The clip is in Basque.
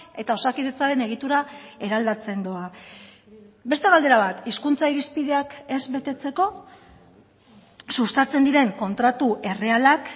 eta osakidetzaren egitura eraldatzen doa beste galdera bat hizkuntza irizpideak ez betetzeko sustatzen diren kontratu errealak